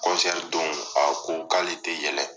don a ko k'ale tɛ yɛlɛ.